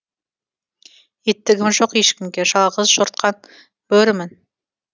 иттігім жоқ ешкімге жалғызжортқан бөрімін